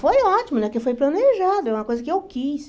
Foi ótimo, né porque foi planejado, é uma coisa que eu quis.